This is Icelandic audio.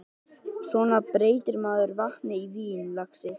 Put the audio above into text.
Svona breytir maður vatni í vín, lagsi.